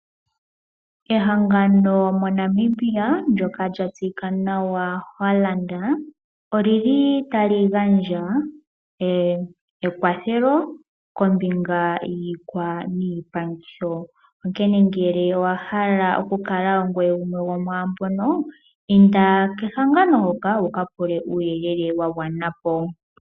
Ehangano moNamibia ndjoka lya tseyika nawa Hollard oli li tali gandja ekwathelo kombinga yiikwa niipangitho . Onkene ngele owahala okukala gumwe gomwaambono inda kehangano hoka wuka pule uuyelele wagwana po.